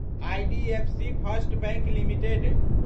IDFC first bank limited